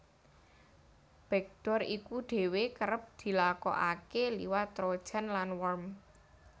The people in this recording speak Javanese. Backdoor iku dhéwé kerep dilakokaké liwat trojan lan worm